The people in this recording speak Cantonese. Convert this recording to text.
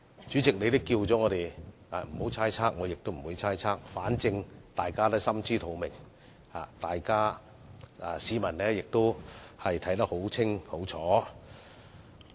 主席，你已經提醒我們不要猜測他們的動機，所以我不會猜測，反正大家心知肚明，市民亦看得一清二楚。